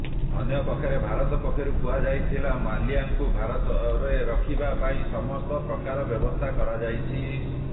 ଅନ୍ୟପକ୍ଷରେ ଭାରତ ପକ୍ଷରୁ କୁହାଯାଇଥିଲା ମାଲ୍ୟାଙ୍କୁ ଭାରତରେ ରଖିବା ପାଇଁ ସମସ୍ତ ପ୍ରକାର ବ୍ୟବସ୍ଥା କରାଯାଇଛି